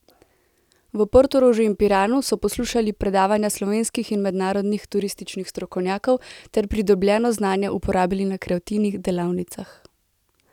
V Portorožu in Piranu so poslušali predavanja slovenskih in mednarodnih turističnih strokovnjakov ter pridobljeno znanje uporabili na kreativnih delavnicah.